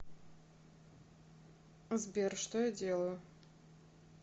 сбер что я делаю